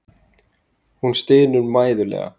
Hún stynur mæðulega.